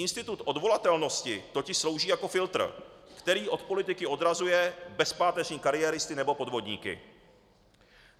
Institut odvolatelnosti totiž slouží jako filtr, který od politiky odrazuje bezpáteřní kariéristy nebo podvodníky.